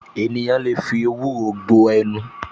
Ènìyàn lè fi ewúro gbo ẹnu